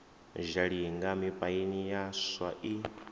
zhalinga mipaini ya swa i